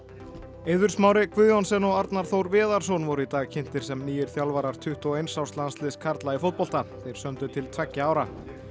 Eiður Smári Guðjohnsen og Arnar Þór Viðarsson voru í dag kynntir sem nýir þjálfarar tuttugu og eins árs landsliðs karla í fótbolta þeir sömdu til tveggja ára